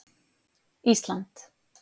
Ísland